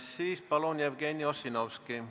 Siis palun, Jevgeni Ossinovski!